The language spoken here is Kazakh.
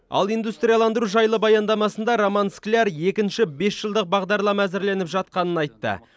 ал индустрияландыру жайлы баяндамасында роман скляр екінші бесжылдық бағдарлама әзірленіп жатқанын айтты